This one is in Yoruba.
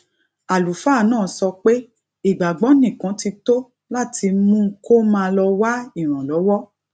àlùfáà náà sọ pé ìgbàgbó nìkan ti tó láti mú kó má lọ wá ìrànlówó